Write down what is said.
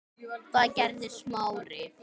Það gerði Smári.